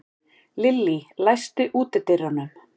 Lillý, læstu útidyrunum.